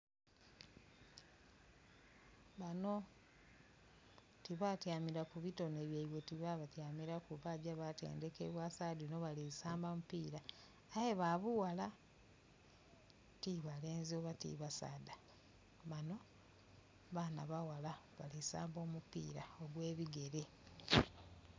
Bano tibatyamira ku bitone byeibwe ti ba bityamiraku bagya batendekebwa sagha dhino bali kusmba mu pira aye ba bughala ti balenzi oba ti basadha bano baana baghala balisamba omupira ogwebigere.